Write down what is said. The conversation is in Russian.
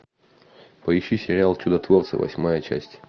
поищи сериал чудотворцы восьмая часть